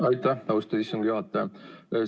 Aitäh, austatud istungi juhataja!